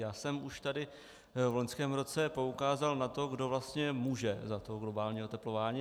Já jsem už tady v loňském roce poukázal na to, kdo vlastně může za to globální oteplování.